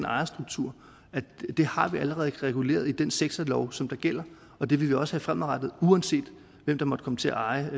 ejerstruktur allerede er reguleret i den sektorlov som der gælder og det vil den også være fremadrettet uanset hvem der måtte komme til at eje